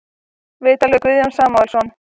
Viðtal við Guðjón Samúelsson